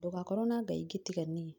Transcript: Ndũgakorwo na ngai ingĩ tiga niĩ